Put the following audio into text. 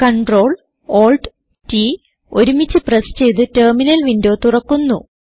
Ctrl Alt T ഒരുമിച്ച് press ചെയ്ത് terminal window തുറക്കുന്നു